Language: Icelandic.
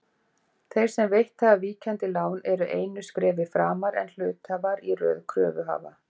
Þeir sem veitt hafa víkjandi lán eru einu skrefi framar en hluthafar í röð kröfuhafa.